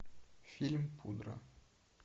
фильм пудра